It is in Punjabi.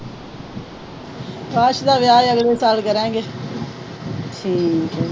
ਦਾ ਵਿਆਹ ਅਗਲੇ ਸਾਲ ਕਰਾਂਗੇ।